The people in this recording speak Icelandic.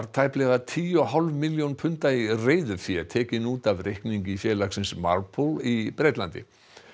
tæplega tíu og hálf milljón punda í reiðufé tekin út af reikningi félagsins í Bretlandi